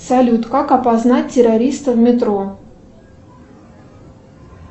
салют как опознать террориста в метро